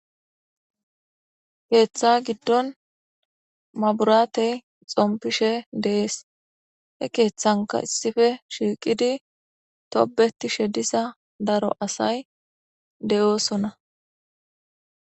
keeththa giddon maburatey xompishe dees he keeththanka issife shiiqidi tobeti shedisa daro asay de7oosona